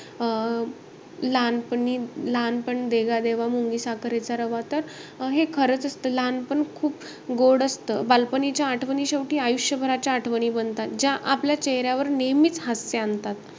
अं लहानपणी~ लहानपण देगा देवा मुंगी साखरेचा रवा, तर हे खरंच असतं. लहानपण खूप गोड असतं बालपणीच्या आठवणी शेवटी आयुष्यभराच्या आठवणी बनतात. ज्या आपल्या चेहऱ्यावर नेहमीचं हास्य आणतात.